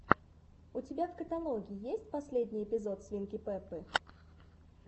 у тебя в каталоге есть последний эпизод свинки пеппи